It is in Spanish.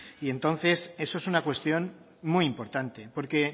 y entonces eso es una cuestión muy importante porque